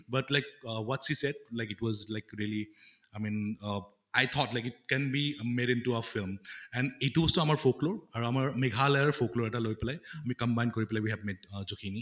but like uh what she said like it was like really i mean uh i thought like it can be made into a film and এইটো বস্ৰু আমাৰ আৰু আমাৰ মেঘালয়াৰ এটা লৈ পালে আমি combine কৰি পালে we have made আহ জখিনী